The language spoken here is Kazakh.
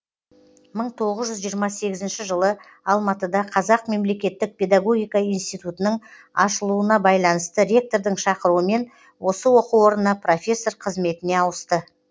мың тоғыз жүз жиырма сегізінші жылы алматыда қазақ мемлекеттік педагогика институтының ашылуына байланысты ректордың шақыруымен осы оқу орнына профессор қызметіне ауысты